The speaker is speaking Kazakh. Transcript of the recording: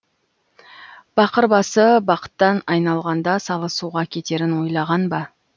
бақыр басы бақыттан айналғанда салы суға кетерін ойлаған ба